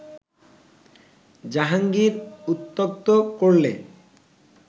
জাহাঙ্গীর উত্ত্যক্ত করলে